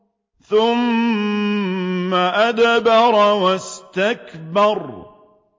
ثُمَّ أَدْبَرَ وَاسْتَكْبَرَ